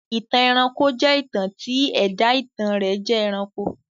ìtàn ẹranko jẹ́ ìtàn tí ẹ̀dá ìtàn rẹ̀ jẹ́ ẹranko.